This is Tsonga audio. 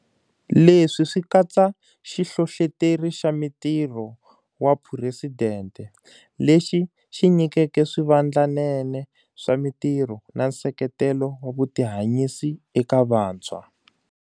Leswi swi katsa Xihlohloteri xa mitirho wa Phuresidente, lexi xi nyikeke swivandlanene swa mitirho na nseketelo wa vutihanyisi eka vantshwa.